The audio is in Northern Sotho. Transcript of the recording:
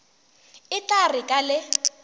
e tla re ka le